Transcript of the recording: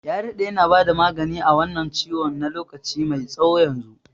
Ya daɗe yana bada magani a wannan ciwon na lokaci mai tsawo yanzu.